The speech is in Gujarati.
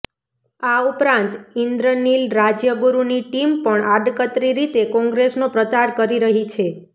આ ઉપરાંત ઈન્દ્રનીલ રાજ્યગુરુની ટિમ પણ આડકતરી રીતે કોંગ્રેસનો પ્રચાર કરી રહી છે